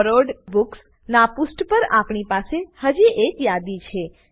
borrowed books નાં પુષ્ઠ પર આપણી પાસે હજી એક યાદી છે